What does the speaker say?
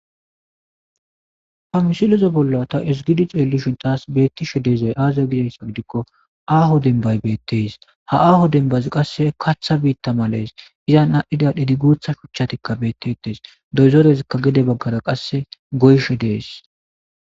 Ha misilezo bolla ta esigidi ceelishon taas beettishe deezay aazaa gidayssa gidikko aaho denbay beetteys ha aaho denbazi qasse katha biitta malees izan aadhdhidadhidi guutha shuchchatikka bettetees doyzorezikka gede baggara qasse goyshe dees.